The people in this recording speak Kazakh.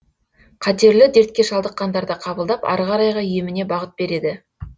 қатерлі дертке шалдыққандарды қабылдап ары қарайғы еміне бағыт береді